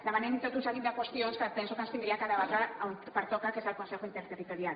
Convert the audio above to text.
demanem tot un seguit de qüestions que penso que s’haurien de debatre on pertoca que és al consejo interterritorial